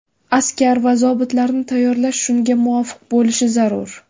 Askar va zobitlarni tayyorlash shunga muvofiq bo‘lishi zarur.